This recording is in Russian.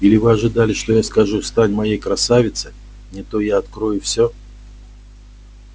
или вы ожидали что я скажу стань моей красавица не то я открою всё